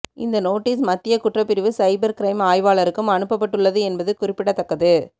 இந்த நோட்டீஸ் மத்திய குற்றப்பிரிவு சைபர் க்ரைம் ஆய்வாளருக்கும் அனுப்பப்பட்டுள்ளது என்பது குறிப்பிடத்தக்கது